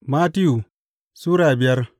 Mattiyu Sura biyar